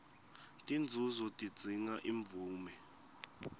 tinzunzo tidzinga imvume